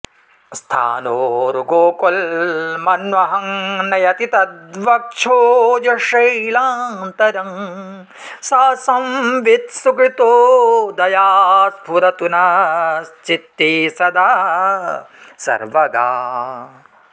स्थानोर्गोकुलमन्वहं नयति तद्वक्षोजशैलान्तरं सा संवित् सुकृतोदया स्फुरतु नश्चित्ते सदा सर्वगा